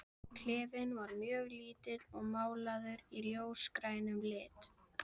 Klefinn var mjög lítill og málaður í ljósgrænum lit.